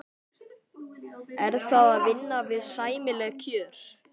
Er það að vinna við sæmileg kjör?